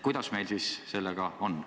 Kuidas meil siis sellega on?